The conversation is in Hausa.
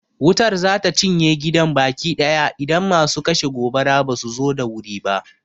Wutar za ta cinye gidan baki ɗaya idan masu kashe gobara ba su zo da wuri ba.